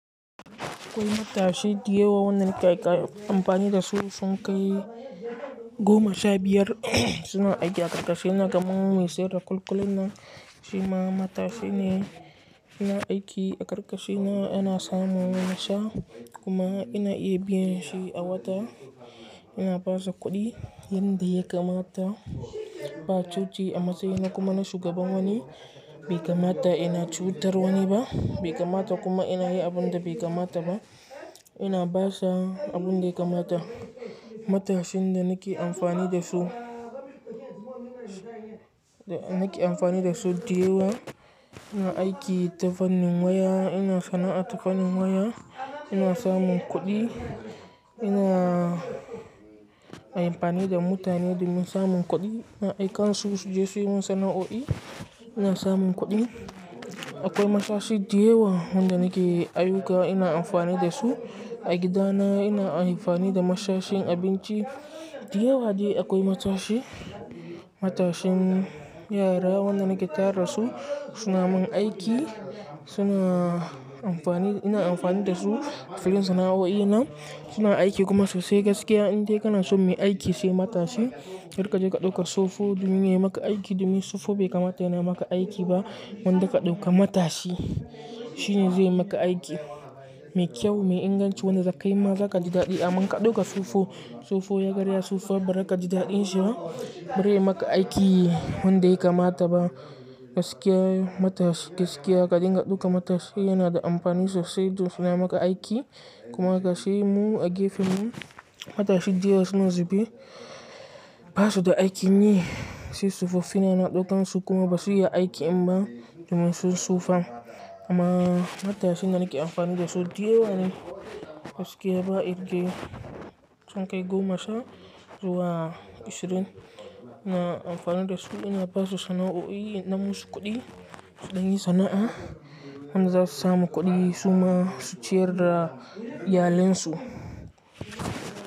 Akwai matashi diyawa wanda kai ka amfani dasu sun kai goma sha biyar suna aiki a karkashina kaman mun me seda kul-kulinna shima matashi ne yana aiki a karkashina yana samun nash kuma ina iya biyan shi a wata ina basu kuɗi yanda ya kamata ba cuci a matsayina kuma na shugaban wani bai kamata ina cutar wani ba bai kamata kuma ina yi abun da bai kamata ba ina basa abun da ya kamata. Matashin da nake amfani dasu da nake amfani dasu diyawa ina aiki tafannin waya ina sana'a tafanin waya ina samun kuɗi ina a amfani da mutane domin samun kuɗi ina aika su je su yi min sana'o'i ina samun kuɗi akwai matashi diyawa wanda nake aiyuka ina amfani dasu a gidana ina amfani da matashin abinci diyawa dai akwai matashi matashin yara wanda nake tara su suna min aiki suna amfani ina amfani dasu a filin sana'o'ina suna aiki kuma sosai gaskiya inda ka na so muyi aiki sai matashi ilkar ka je ka ɗauka tsofo domin yayi maka aiki domin tsofo bai kamata yana maka aiki ba gwanda ka ɗauka matashi shine zai maka aiki mai kyau mai inganci wanda zakayi ma zakaji daɗi a man ka ɗauka tsofo tsofo ya karya tsofa ba za ka ji daɗin shi ba bari yayi maka aiki wanda ya kamata ba gaskiya matash gaskiya ka dinga ɗauka matashi yana da amfani sosai don suna maka aiki kuma gashi mu a gefen mu matashi diyawa suna zubi basu da aikin yi sai tsofaffin ina ɗaukan su kuma basu iya aiki in ba domin sun tsofa amma matashin da nake amfani dasu diyawa ne gaskiya ba irge sun kai goma sha zuwa ashirin ina amfani dasu ina basu sana'o'i na musu kuɗi su dan yi sana'a wanda za su samu kuɗi su ma su ciyar da iyalansu.